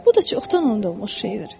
Bu da çoxdan unudulmuş şeydir.